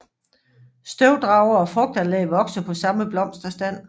Støvdrager og frugtanlæg vokser på samme blomsterstand